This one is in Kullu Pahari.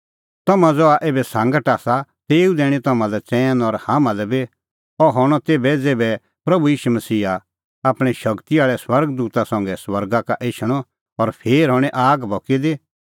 तम्हां ज़हा एभै सांगट आसा तेऊ दैणीं तम्हां चैन और हाम्हां लै बी अह हणअ तेभै ज़ेभै कि प्रभू ईशू मसीहा आपणैं शगती आल़ै स्वर्ग दूता संघै स्वर्गा का एछणअ और फेर हणीं आग भकी दी